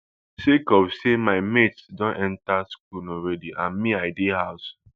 sake of say my mates don enta school already and me i dey house